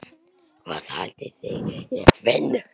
Hvað haldið þið ég finni?